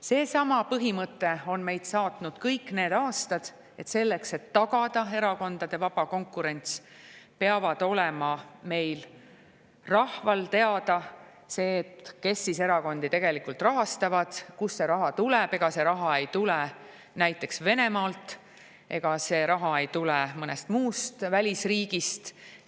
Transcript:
Seesama põhimõte on meid saatnud kõik need aastad, et selleks, et tagada erakondade vaba konkurents, peab olema meil, rahval teada see, kes erakondi rahastavad, kust see raha tuleb, ega see raha ei tule näiteks Venemaalt, ega see raha ei tule mõnest muust välisriigist.